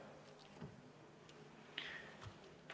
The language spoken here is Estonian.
Aitäh!